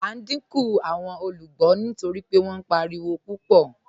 À n díńkù awọn olúgbọ́ nítorí pé wọn páriwo pupọ̀.